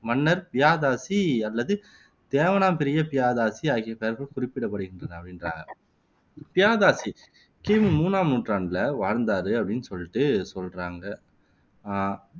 மன்னர் பியாதாசி அல்லது தேவனாம்பிரிய பியாதாசி ஆகிய பெயர்கள் குறிப்பிடப்படுகின்றன அப்படின்றாங்க பியாதாசி கி மு மூணாம் நூற்றாண்டுல வாழ்ந்தாரு அப்படின்னு சொல்லிட்டு சொல்றாங்க அஹ்